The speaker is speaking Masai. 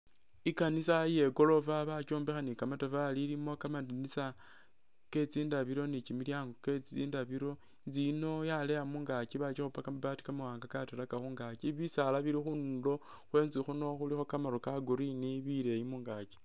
I'kanisa iye goorofa bakyombekha ni'kamatafali ilimo kamandinisa ke tsindabilo ni kimilyaango kye tsindabilo. Inzu yiino yaleya mungaaki bakipa kamabaati kakatalaka khungaaki, bisaala bili khundulo khwenzu khuno khulikho kamaru ka'green bileeyi mungaaki.